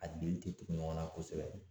A dili tɛ tugu ɲɔgɔn na kosɛbɛ.